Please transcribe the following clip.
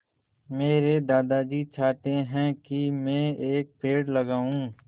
मेरे दादाजी चाहते हैँ की मै एक पेड़ लगाऊ